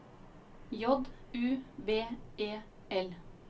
J U B E L